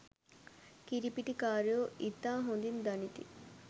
කිරි පිටි කාරයෝ ඉතා හොඳින් දනිති